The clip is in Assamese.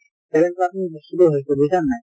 seven percent হৈছে বুজিছা নে নাই